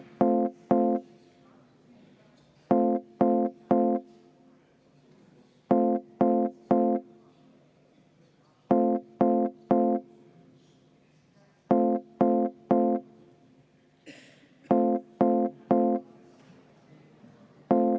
Ei saa, vaheaeg on, ei saa protseduurilist.